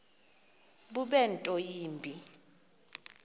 bube nto yimbi